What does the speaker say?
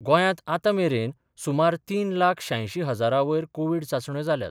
गोंयांत आतांमेरेन सुमार तीन लाख श्यांयशीं हजारांवयर कोव्हीड चाचण्यो जाल्यात.